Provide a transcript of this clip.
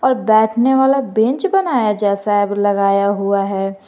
बैठने वाला बेंच बनाया जैसा लगाया हुआ है।